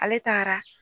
Ale taara